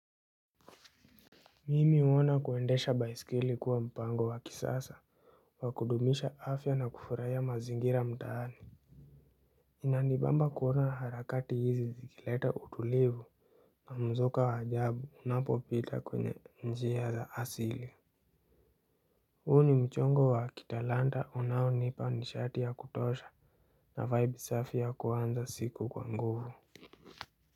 Mimi huona kuendesha baisikeli kuwa mpango wa kisasa wa kudumisha afya na kufurahiya mazingira mtaani. Inanibamba kuona harakati hizi zikileta utulivu na mzuka ajabu unapopita kwenye njia za asili. Huu ni mchongo wa kitalanta unaonipa nishati ya kutosha na vibe safi ya kuanza siku kwa nguvu.